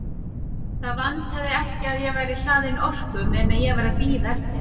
Það vantaði ekki að ég væri hlaðinn orku meðan ég var að bíða eftir henni.